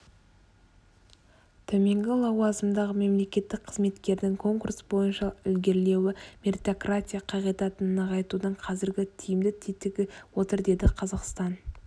төменгі лауазымдағы мемлекеттік қызметкердің конкурс бойынша ілгерілеуі меритократия қағидатын нығайтудың қазіргі тиімді тетігі отыр деді қазақстан